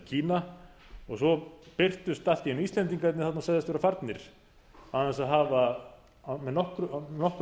kína og svo birtust allt í einu íslendingarnir þarna og segðust vera farnir án þess að hafa með nokkrum